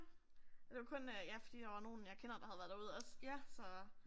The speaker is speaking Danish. Det var kun øh ja fordi der var nogen jeg kender der havde været derude også så